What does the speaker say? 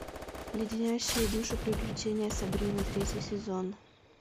леденящие душу приключения сабрины третий сезон